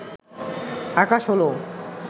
আকাশ হল